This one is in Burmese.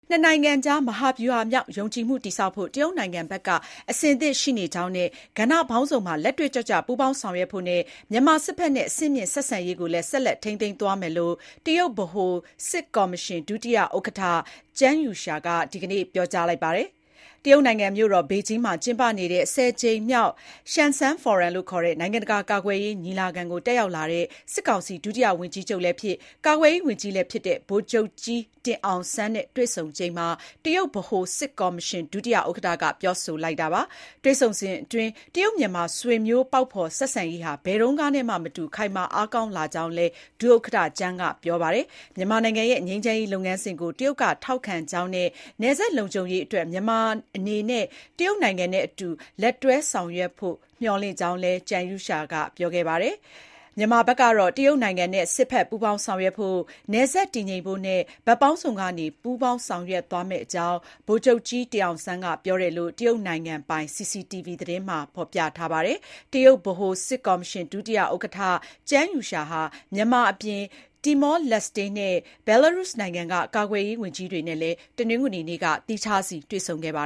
နှစ်နိုင်ငံကြား မဟာဗျူဟာမြောက် ယုံကြည်မှုတည်ဆောက်ဖို့ တရုတ်နိုင်ငံဘက်က အဆင်သင့်ရှိနေကြောင်းနဲ့ ကဏ္ဍပေါင်းစုံမှာ လက်တွေ့ကျကျပူးပေါင်း ဆောင်ရွက်ဖို့နဲ့ မြန်မာစစ်ဖက်နဲ့ အဆင့်မြင့်ဆက်ဆံရေးကိုလည်း ဆက်ထိန်းသိမ်းသွားမယ်လို့ တရုတ်ဗဟိုစစ်ကော်မရှင် ဒုတိယ ဥက္ကဋ္ဌ Zhang Youxia (ကျန်းယူရှား) က ဒီကနေ့ (အောက်တိုဘာ ၃၀) ပြောကြားခဲ့ပါတယ်။ တရုတ်နိုင်ငံမြို့တော် ဘေဂျင်းမှာ ကျင်းပနေတဲ့ ၁၀ ကြိမ်မြောက် ရှန်စန်း ဖိုရမ်လို့ခေါ်တဲ့ နိုင်ငံတကာကာကွယ်ရေးညီလာခံကို တက်ရောက်လာတဲ့ စစ်ကောင်စီ ဒုတိယဝန်ကြီးချုပ်လည်းဖြစ် ကာကွယ်ရေးဝန်ကြီးလည်းဖြစ်တဲ့ ဗိုလ်ချုပ်ကြီးတင်အောင်စန်းနဲ့ တွေ့ဆုံချိန်မှာ တရုတ်ဗဟိုစစ်ကော်မရှင်ဒုဥက္ကဋ္ဌက ပြောဆိုလိုက်တာပါ။ တွေ့ဆုံစဥ်အတွင်း တရုတ် မြန်မာ ဆွေမျိုးပေါက်ဖေါ် ဆက်ဆံရေးဟာ ဘယ်တုန်းကနဲ့မှ မတူ ခိုင်မာအားကောင်းလာကြောင်းလည်း ဒုဥက္ကဋ္ဌကျန်းက ပြောကြားခဲ့တယ်လို့ သိရပါတယ်။ မြန်မာနိုင်ငံရဲ့ ငြိမ်းချမ်းရေးလုပ်ငန်းစဉ်ကို တရုတ်က ထောက်ခံကြောင်းနဲ့ နယ်စပ်လုံခြုံရေးအတွက် မြန်မာနိုင်ငံအနေနဲ့ တရုတ်နိုင်ငံနဲ့အတူ လက်တွဲဆောင်ရွက်ဖို့ မျှော်လင့်ကြောင်းလည်း ကျန်းယူရှားက ပြောပါတယ်။ မြန်မာနိုင်ငံဘက်ကလည်း တရုတ်နိုင်ငံနဲ့ စစ်ဖက် ပူးပေါင်းဆောင်ရွက်ဖို့၊ နယ်စပ်တည်ငြိမ်ဖို့နဲ့ ဘက်ပေါင်းစုံကနေ ပူးပေါင်းဆောင်ရွက်သွားမယ့်အကြောင်း ဗိုလ်ချုပ်ကြီးတင်အောင်ဆန်းက ပြောတယ်လို့ တရုတ်နိုင်ငံပိုင် CCTV သတင်းမှာဖေါ်ပြပါတယ်။ တရုတ်ဗဟိုစစ်ကော်မရှင် ဒုဥက္ကဋ္ဌ Zhang Youxia (ကျန်းယူရှား) ဟာ မြန်မာအပြင် တီမောလက်စ်တေနဲ့ ဘယ်လာရုစ်နိုင်ငံက ကာကွယ်ရေးဝန်ကြီးတွေနဲ့ တနင်္ဂနွေနေ့က သီးခြားတွေ့ဆုံခဲ့ပါ